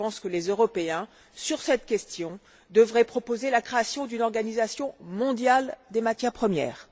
Je pense que les Européens, sur cette question, devraient proposer la création d'une organisation mondiale des matières premières.